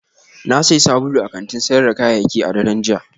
Na sayi sabulu a kantin sayar da kayayyaki a daren jiya